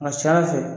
A ka ca ala fɛ